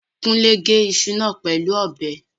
Kúnlé gé iṣu náà pẹ̀lú ọ̀bẹ